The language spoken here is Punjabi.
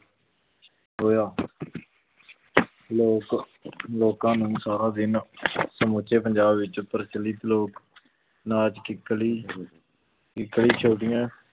ਹੋਇਆ ਲੋਕ ਲੋਕਾਂ ਨੂੰ ਸਾਰਾ ਦਿਨ ਸਮੁੱਚੇ ਪੰਜਾਬ ਵਿੱਚ ਪ੍ਰਚਲਿਤ ਲੋਕ ਨਾਚ ਕਿੱਕਲੀ